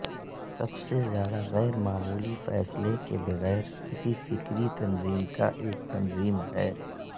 سب سے زیادہ غیر معمولی فیصلے کے بغیر کسی فکری تنظیم کا ایک تنظیم ہے